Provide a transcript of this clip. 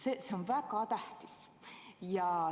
See on väga tähtis.